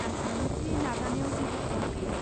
आं सानो दि नाजानायाव जेबो खहा गैया।